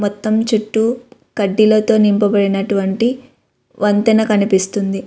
మొత్తం చుట్టూ కడ్డీలతో నింపబడి నటువంటి వంతెన కనిపిస్తోంది.